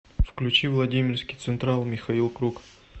включи владимирский централ михаил круг